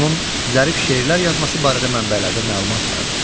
Onun zərif şeirlər yazması barədə mənbələrdə məlumat vardır.